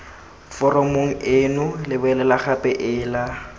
foromong eno lebelela gape ela